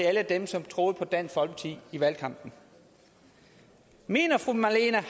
alle dem som troede på dansk folkeparti i valgkampen mener fru marlene